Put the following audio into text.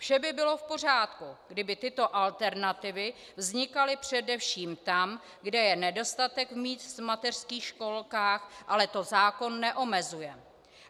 Vše by bylo v pořádku, kdyby tyto alternativy vznikaly především tam, kde je nedostatek míst v mateřských školkách, ale to zákon neomezuje.